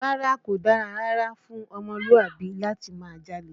Rárá, kò dára rárá fún ọmọlúàbí láti máa jalè